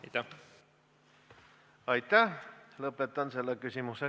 Signe Riisalo, palun!